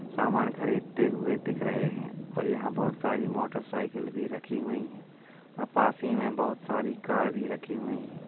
सामान खरीदते हुए दिख रहे हैं और यहाँ बहोत सारी मोटर साइकिल भी रखी हुई हैं और पास ही में बहोत सारी कार भी रखी हुई हैं।